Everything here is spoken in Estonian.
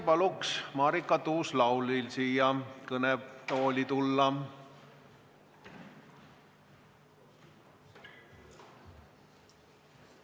Palun Marika Tuus-Laulil siia kõnetooli tulla!